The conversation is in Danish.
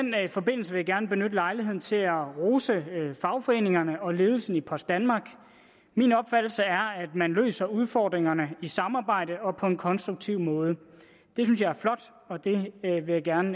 forbindelse vil jeg gerne benytte lejligheden til at rose fagforeningerne og ledelsen i post danmark min opfattelse er at man løser udfordringerne i samarbejde og på en konstruktiv måde det synes jeg er flot og det vil jeg gerne